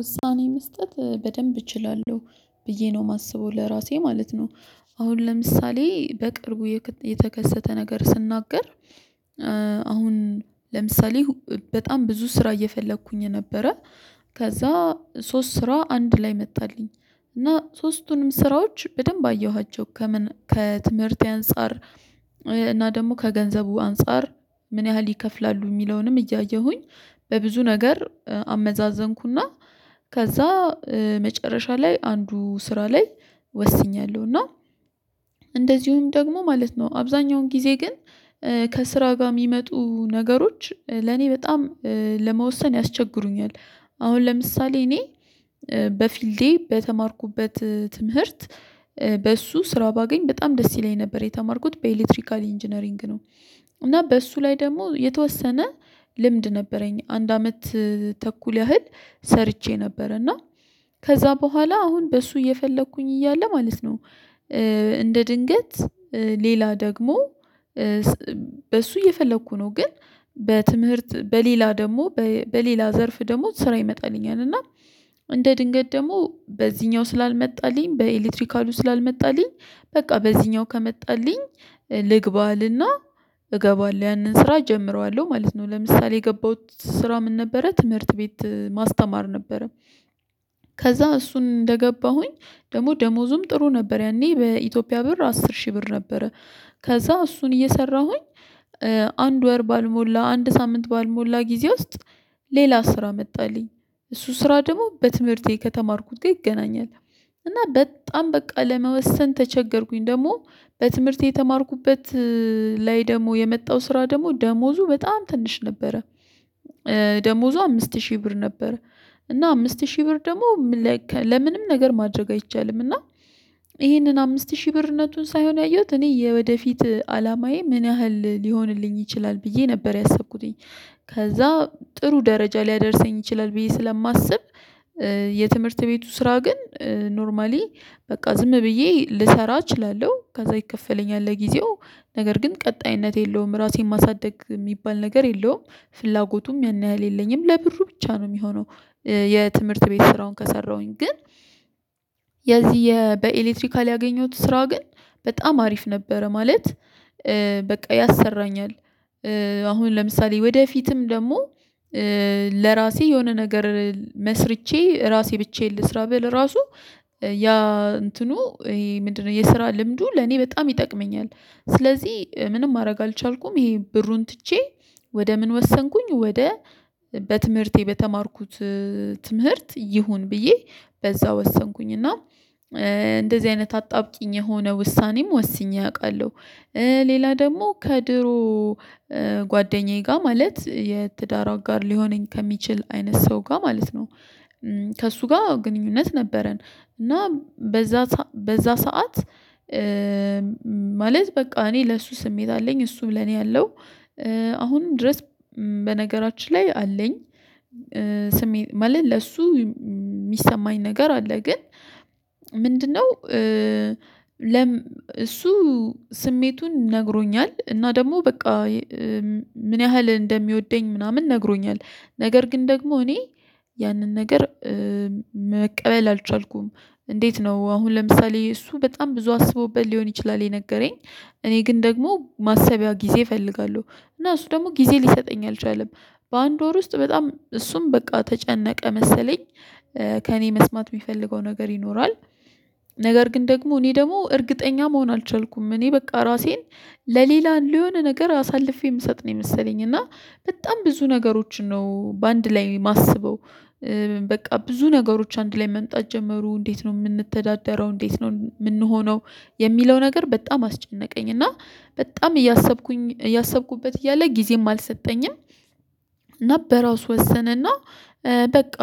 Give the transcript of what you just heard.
ውሳኔ መስጠት በደንብ እችላለሁ ብዬ ነው ማስበው ለራሴ ማለት ነው። አሁን ለምሳሌ በቅርቡ የተከሰተ ነገር ስናገር። አሁን ለምሳሌ በጣም ብዙ ስራ እየፈለኩኝ የነበረ ከዛ ሶስት ስራ አንድ ላይ መጣልኝ እና ሶስቱንም ስራዎች በደንብ አየኋቸው ከምን ከትምህርቴ አንፃር። እና ደግሞ ከገንዘቡ አንፃር ምን ያህል ይከፍላሉ ሚለውንም እያየሁኝ። በብዙ ነገር አመዛዘንኩ እና ከዛ መጨረሻ ላይ አንዱ ስራ ላይ ወስኛለሁ። እና እንደዚሁም ደግሞ ማለት ነው አብዛኛውን ጊዜ ግን ከስራ ጋር ሚመጡ ነገሮች ለኔ በጣም ለመወሰን ያስቸግሩኛል። አሁን ለምሳሌ እኔ በፊልዴ በተማርኩበት ትምህርት በእሱ ስራ ባገኝ በጣም ደስ ይለኝ ነበር የተማርኩት በኤሌክትሪካል ኢንጂነሪንግ ነው። እና በእሱ ላይ ደግሞ የተወሰነ ልምድ ነበረኝ አንድ አመት ተኩል ያህል ሰርቼ ነበር። እና ከዛ በኋላ አሁን በሱ እየፈለኩኝ እያለ ማለት ነው። እንደ ድንገት ሌላ ደግሞ በሱ እየፈለኩ ነው ግን። በትምህርት በሌላ ደግሞ በሌላ ዘርፍ ደግሞ ስራ ይመጣልኛል እና እንደ ድንገት ደግሞ በዚህኛው ስላልመጣልኝ በኤሌክትሪካሉ ስላልመጣልኝ በቃ በዚህኛው ከመጣልኝ ልግባ እልና እገባለሁ ያንን ስራ እጀምረዋለሁ ማለት ነው። ለምሳሌ የገባሁት ስራ ምን ነበረ ትምህርት ቤት ማስተማር ነበረ። ከዛ እሱን እንደገባሁኝ ደሞ ደሞዙም ጥሩ ነበር ያኔ በኢትዮጵያ ብር አስር ሺህ ብር ነበረ። ከዛ እሱን እየሰራሁኝ አንድ ወር ባልሞላ አንድ ሳምንት ባልሞላ ጊዜ ውስጥ ሌላ ስራ መጣልኝ እሱ ስራ ደግሞ በትምህርቴ ከተማርኩት ጋር ይገናኛል። እና በጣም በቃ ለመወሰን ተቸገርኩኝ ደግሞ በትምህርቴ የተማርኩበት ላይ ደግሞ የመጣው ስራ ደግሞ ደሞዙ በጣም ትንሽ ነበረ። ደሞዙ አምስት ሺህ ብር ነበረ። እና አምስት ሺህ ብር ደግሞ ለምንም ነገር ማድረግ አይቻልም። እና ይሄንን አምስት ሺህ ብርነቱን ሳይሆን ያየሁት እኔ የወደፊት አላማዬ ምን ያህል ሊሆንልኝ ይችላል ብዬ ነበር ያሰብኩተኝ። ከዛ ጥሩ ደረጃ ሊያደርሰኝ ይችላል ብዬ ስለማስብ። የትምህርት ቤቱ ስራ ግን ኖርማሊ በቃ ዝም ብዬ ልሰራ እችላለሁ ከዛ ይከፈለኛል ለጊዜው ነገር ግን ቀጣይነት የለውም ራሴን ማሳደግ ሚባል ነገር የለውም። ፍላጎቱም ያን ያህል የለኝም ለብሩ ብቻ ነው የሚሆነው። የትምህርት ቤት ስራውን ከሰራሁኝ ግን የዚህ በኤሌክትሪካል ያገኘሁት ስራ ግን በጣም አሪፍ ነበረ ማለት። በቃ ያሰራኛል አሁን ለምሳሌ ወደፊትም ደግሞ ለራሴ የሆነ ነገር መስርቼ ራሴ ብቻዬን ልስራ ብል ራሱ ያ እንትኑ ይሄ ምንድን ነው የስራ ልምዱ ለኔ በጣም ይጠቅመኛል። ስለዚህ ምንም ማረግ አልቻልኩም ይሄ ብሩን ትቼ ወደ ምን ወሰንኩኝ ወደ በትምህርቴ በተማርኩት ትምህርት ይሁን ብዬ በዛ ወሰንኩኝ እና እንደዚህ አይነት አጣብቂኝ የሆነ ውሳኔም ወስኜ አቃለሁ። ሌላ ደግሞ ከድሮ ጓደኛዬ ጋር ማለት የትዳር አጋር ሊሆነኝ ከሚችል አይነት ሰው ጋ ማለት ነው። ከእሱ ጋር ግንኙነት ነበረን እና በዛ በዛ ሰዓት ማለት በቃ እኔ ለሱ ስሜት አለኝ እሱ ለኔ አለው። አሁንም ድረስ በነገራችን ላይ አለኝ። ስሜት ማለት ለእሱ ሚሰማኝ ነገር አለ ግን ምንድን ነው? እሱ ስሜቱን ነግሮኛል እና ደግሞ በቃ ምን ያህል እንደሚወደኝ ምናምን ነግሮኛል ነገር ግን ደግሞ እኔ ያንን ነገር መቀበል አልቻልኩም። እንዴት ነው አሁን ለምሳሌ እሱ በጣም ብዙ አስቦበት ሊሆን ይችላል የነገረኝ። እኔ ግን ደግሞ ማሰቢያ ጊዜ እፈልጋለሁ። እና እሱ ደግሞ ጊዜ ሊሰጠኝ አልቻለም። በአንድ ወር ውስጥ በጣም እሱም በቃ ተጨነቀ መሰለኝ ከእኔ መስማት ሚፈልገው ነገር ይኖራል። ነገር ግን ደግሞ እኔ ደግሞ እርግጠኛ መሆን አልቻልኩም እኔ በቃ ራሴን ለሌላ ለሆነ ነገር አሳልፌ ምሰጥ ነው የመሰለኝ እና በጣም ብዙ ነገሮችን ነው በአንድ ላይ ማስበው። በቃ ብዙ ነገሮች አንድ ላይ መምጣት ጀመሩ እንዴት ነው ምንተዳደረው እንዴት ነው ምንሆነው? የሚለው ነገር በጣም አስጨነቀኝ እና በጣም እያሰብኩኝ እያሰብኩበት እያለ ጊዜም አልሰጠኝም። እና በራሱ ወሰነና በቃ